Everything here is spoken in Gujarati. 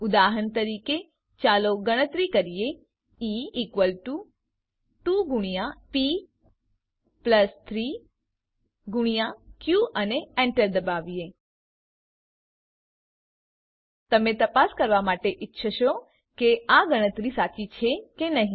ઉદાહરણ તરીકે ચાલો ગણતરી કરીએ ઇ ઇકવલ ટુ 2 ગુણ્યા પ પ્લસ 3 ગુણ્યા ક અને enter દબાવીએ તમે તપાસ કરવા માટે ઇચ્છશો કે આ ગણતરી સાચી છે કે નહી